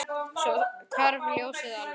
Svo hvarf ljósið alveg.